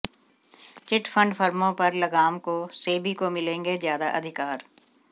chit fund फर्मों पर लगाम को सेबी को मिलेंगे ज्यादा अधिकार